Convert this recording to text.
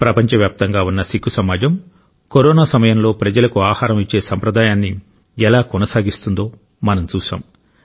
ప్రపంచవ్యాప్తంగా ఉన్న సిక్కు సమాజం కరోనా సమయంలో ప్రజలకు ఆహారం ఇచ్చే సంప్రదాయాన్ని ఎలా కొనసాగిస్తుందో మనం చూశాం